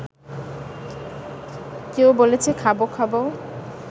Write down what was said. কেউ বলেছে খাবো খাবো